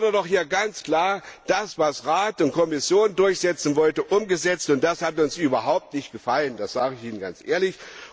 Es wurde doch hier ganz klar das, was Rat und Kommission durchsetzen wollten, umgesetzt, und das hat uns überhaupt nicht gefallen. Das sage ich ihnen ganz ehrlich.